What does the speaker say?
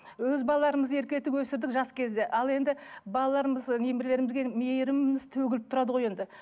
өз балаларымызды еркелетіп өсірдік жас кезде ал енді балаларымыз немерелерімізге мейріміміз төгіліп тұрады ғой енді